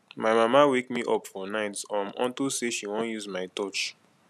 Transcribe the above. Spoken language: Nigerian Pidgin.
my mama wake me up fir night um unto say she wan use my torch